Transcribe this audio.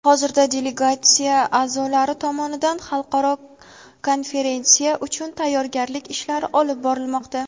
Hozirda delegatsiya a’zolari tomonidan xalqaro konferensiya uchun tayyorgarlik ishlari olib borilmoqda.